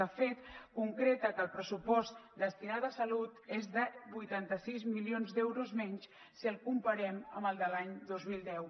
de fet concreta que el pressupost destinat a salut és de vuitanta sis milions d’euros menys si el comparem amb el de l’any dos mil deu